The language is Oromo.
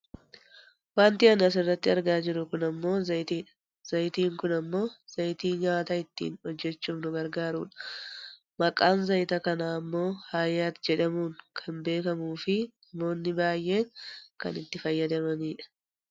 Wanti ani asirratti argaa jiru kun ammoo zayitiidha. Zayitiin kun ammoo zayitii nyaata ittiin hojjatachuuf nu gargaarudha . Maqaan zayita kanaa ammoo hayaat jedhamuun kana beekkamuufi namoonni baayyeen kan itti fayyadamanidha.